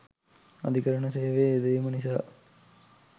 අධිකරණ සේවයේ යෙදවීම නිසා